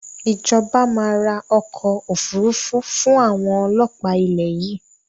Ìjọba máa ra ọkọ̀ Òfúrufú fun àwọn ọlọ́pa ilẹ̀ yìí